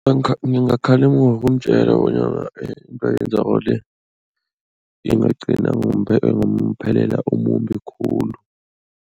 Ngingamkhalima ngokumtjela bonyana into ayenzako le ingagcina ngomphelela omumbi khulu.